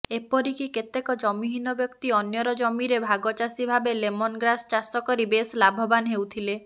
ଏପରିକି କେତେକ ଜମିହୀନ ବ୍ୟକ୍ତି ଅନ୍ୟର ଜମିରେ ଭାଗଚାଷୀ ଭାବେ ଲେମନଗ୍ରାସ୍ ଚାଷ କରି ବେଶ୍ ଲାଭବାନ୍ ହେଉଥିଲେ